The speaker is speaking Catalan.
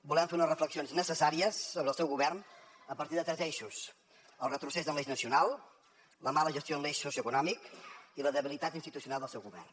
volem fer unes reflexions necessàries sobre el seu govern a partir de tres eixos el retrocés en l’eix nacional la mala gestió en l’eix socioeconòmic i la debilitat institucional del seu govern